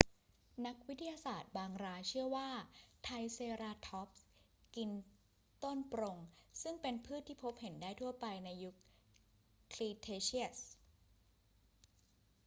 นักวิทยาศาสตร์บางรายเชื่อว่าไทรเซราทอปส์กินต้นปรง ซึ่งเป็นพืชที่พบเห็นได้ทั่วไปในยุคครีเทเชียส